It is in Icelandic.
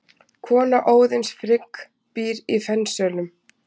Kona Óðins, Frigg, býr í Fensölum.